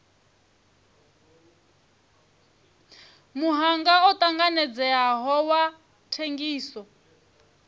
muhanga u tanganedzeaho wa thengiso